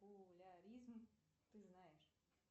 поляризм ты знаешь